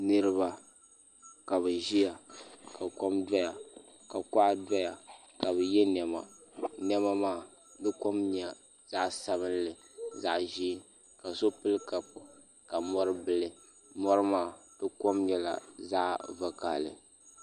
Niriba kabi ziya ka kom doya ka kuɣa doya ka bi ye nɛma nɛma maa kom nyɛla zaɣi sabinli zaɣi ʒee ka so pili kapu ka mori bili mori maa di kom nyɛla zaɣi vakahali.